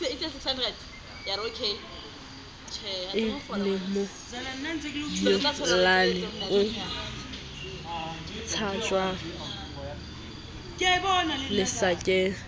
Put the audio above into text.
e lemonyollane o tshajwang lesakeng